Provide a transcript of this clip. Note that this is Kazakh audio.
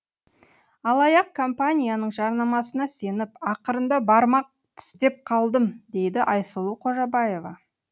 алаяқ компанияның жарнамасына сеніп ақырында бармақ тістеп қалдым дейді айсұлу қожабаева